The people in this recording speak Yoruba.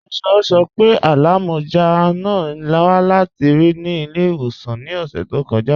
Ayọ sọ́ pé alámọ́já náà wà láti ri ni ilẹ̀-iwosan ni ọṣẹ̀ tó kọja.